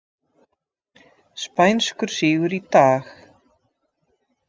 Spænskur sigur í dag